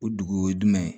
O dugu o ye jumɛn ye